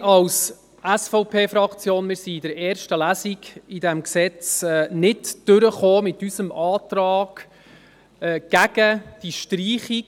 Als SVP-Fraktion kamen wir in der ersten Lesung dieses Gesetzes nicht durch mit unserem Antrag gegen die Streichung